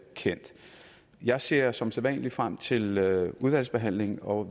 kendt jeg ser som sædvanlig frem til udvalgsbehandlingen og